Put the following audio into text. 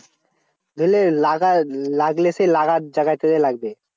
ধরলে লাগা লাগলে সেই লাগা জায়গায় তে যেয়ে লাগবে।